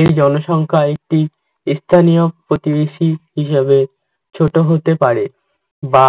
এই জনসংখ্যা একটি স্থানীয় প্রতিবেশী হিসাবে ছোট হতে পারে বা